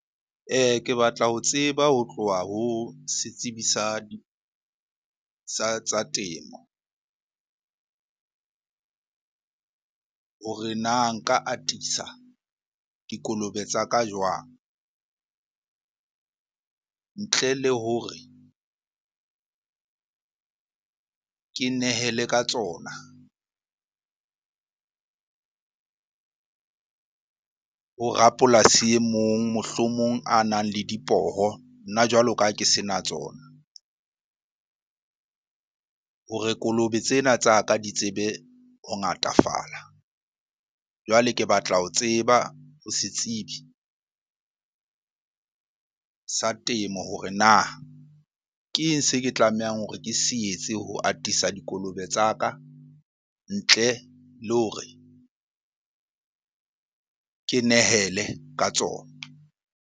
Ke batla ho tseba ho tloha ho setsibi sa temo hore na nka atisa dikolobe tsa ka jwang ntle le hore ke nehele ka tsona ho rapolasi e mong mohlomong a nang le dipoho nna jwalo ka ha ke sena tsona? Hore kolobe tsena tsa ka di tsebe ho ngatafala. Jwale ke batla ho tseba ho setsibi sa temo hore na ke eng se ke tlamehang hore ke se etse ho atisa dikolobe tsa ka ntle le hore ke nehele ka tsona?